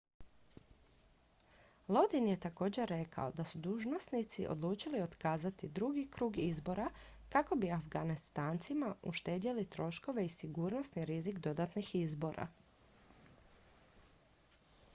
lodin je također rekao da su dužnosnici odlučili otkazati drugi krug izbora kako bi afganistancima uštedjeli troškove i sigurnosni rizik dodatnih izbora